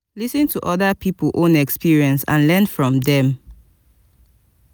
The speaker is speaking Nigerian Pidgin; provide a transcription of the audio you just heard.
lis ten to oda pipo own experience and learn from them